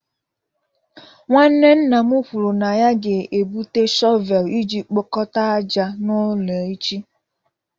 Nwanne nna m kwuru na ya ga-ebute shọvel iji kpokọta ájá n'ụlọ echi.